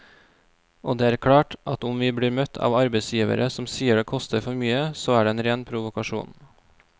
Og det er klart at om vi blir møtt av arbeidsgivere som sier det koster for mye, så er det en ren provokasjon.